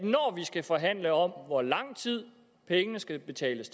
skal forhandle om hvor lang tid pengene skal betales